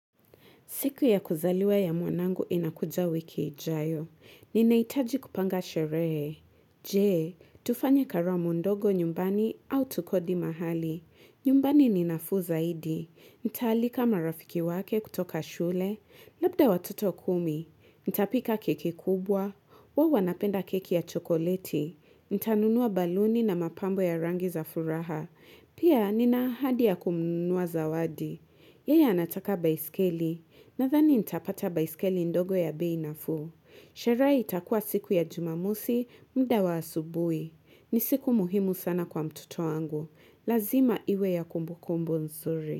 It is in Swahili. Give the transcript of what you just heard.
Siku ya kuzaliwa ya muanangu inakuja wiki ijayo. Ninaitaji kupanga sheree. Jee, tufanye karamu ndogo nyumbani au tukodi mahali. Nyumbani ninafu zaidi. Nitalika marafiki wake kutoka shule. Labda watoto kumi. Ntapika keki kubwa. Wawo wanapenda keki ya chokoleti. Ntanunua baluni na mapambo ya rangi za furaha. Pia nina ahadi ya kumnunua zawadi. Yeya anataka baiskeli. Nathani nitapata baisikeli ndogo ya bei nafuu. Shere itakua siku ya jumamusi, mda wa asubui. Ni siku muhimu sana kwa mtoto wangu. Lazima iwe ya kumbukumbu nzuri.